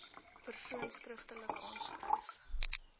persoon skriftelik aanskryf